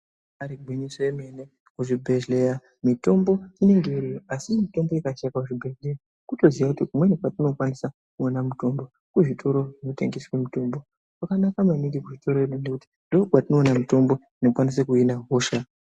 Igwinyiso remene kuzvibhehleya mitombo inenge iriyo asi mitombo ikashaika kuzvibhehleya kutoziya kuti kumweni kwatinokwanise kuona mutombo kuzvitoro zvinotengeswe mitombo kwakanaka maningi kwetiri ngekuti ndikwo kwatinoone mitombo inokwanise kuhina hosha.